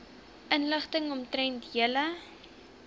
inligting omtrent julle